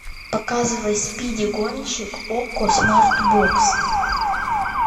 показывай спиди гонщик окко смарт бокс